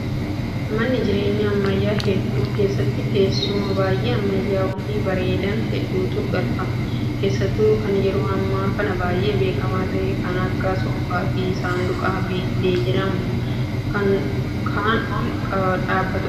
Manneen jireenyaa ammayyaa hedduu keessatti teessuma baay'ee ammayyaa'oo fi bareedan hedduutu galfama. Keessattuu kan yeroo ammaa kana baay'ee beekamaa ta'e kan akka soofaa fi saanduqa biiffee jedhamu kan ol dhaabbatudha.